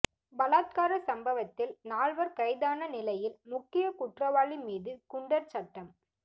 பலாத்கார சம்பவத்தில் நால்வர் கைதான நிலையில் முக்கிய குற்றவாளி மீது குண்டர் சட்டம்